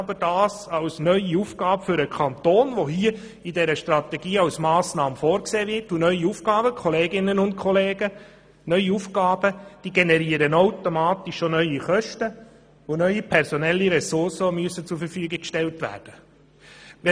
Aber ich betrachte das als neue Aufgabe für den Kanton, und solche generieren automatisch auch neue Kosten und neue personelle Ressourcen, die zur Verfügung gestellt werden müssen.